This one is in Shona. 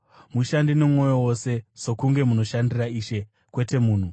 Mushande nomwoyo wose, sokunge munoshandira Ishe, kwete munhu,